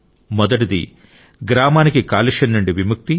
మొదటిది గ్రామానికి కాలుష్యం నుండి విముక్తి